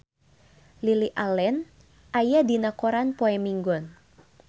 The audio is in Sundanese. Lily Allen aya dina koran poe Minggon